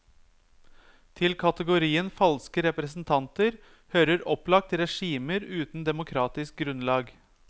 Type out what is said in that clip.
Til kategorien falske representanter hører opplagt regimer uten demokratisk grunnlag.